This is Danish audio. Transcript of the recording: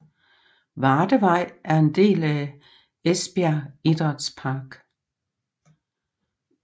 Vardevej og en del af Esbjerg Idrætspark